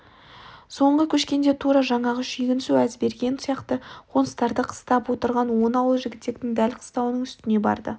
соңғы көшкенде тура жаңағы шүйгінсу әзберген сияқты қоныстарды қыстап отырған он ауыл жігітектің дәл қыстауының үстіне барды